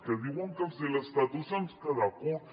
que diuen que si l’estatut ens queda curt